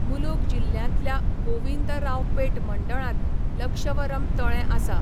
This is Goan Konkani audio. मुलुगू जिल्ह्यांतल्या गोविंदरावपेट मंडळांत लक्षवरम तळें आसा.